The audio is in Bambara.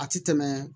A ti tɛmɛ